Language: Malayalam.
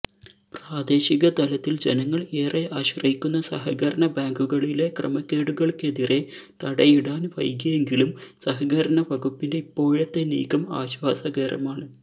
പ്രാദേശിക തലത്തിൽ ജനങ്ങൾ ഏറെ ആശ്രയിക്കുന്ന സഹകരണ ബാങ്കുകളിലെ ക്രമക്കേടുകൾക്കെതിരെ തടയിടാൻ വൈകിയെങ്കിലും സഹകരണ വകുപ്പിന്റെ ഇപ്പോഴത്തെ നീക്കം ആശ്വാസകരമാണ്